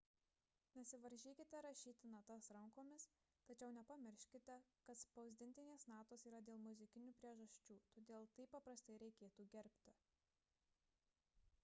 nesivaržykite rašyti natas rankomis tačiau nepamirškite kad spausdintinės natos yra dėl muzikinių priežasčių todėl tai paprastai reikėtų gerbti